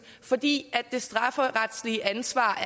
fordi det strafferetlige ansvar